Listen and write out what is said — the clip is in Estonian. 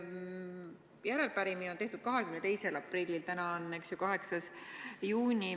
Arupärimine on tehtud 22. aprillil, täna on 8. juuni.